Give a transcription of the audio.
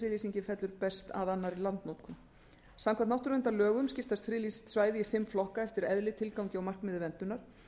friðlýsingin fellur sem best að annarri landnotkun samkvæmt náttúruverndarlögum skiptast friðlýst svæði í fimm flokka eftir eðli tilgangi og markmiði verndunar